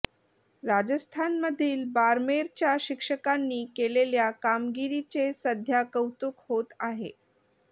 राजस्थानमधील बारमेरच्या शिक्षकांनी केलेल्या कामगिरीचे सध्या कौतुक होत आहे